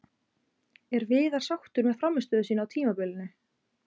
Er Viðar sáttur með frammistöðu sína á tímabilinu?